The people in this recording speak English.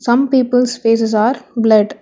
Some peoples faces are blured.